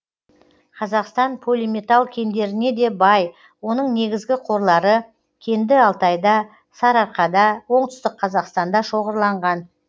қазақстан полиметалл кендеріне де бай оның негізгі қорлары кенді алтайда сарыарқада оңтүстік қазақстанда шоғырланған